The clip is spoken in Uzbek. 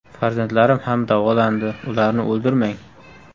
Farzandlarim ham davolandi, ularni o‘ldirmang.